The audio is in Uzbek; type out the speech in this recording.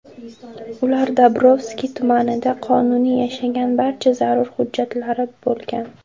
Ular Dobrovskiy tumanida qonuniy yashagan, barcha zarur hujjatlari bo‘lgan.